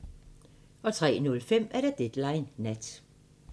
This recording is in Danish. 03:05: Deadline Nat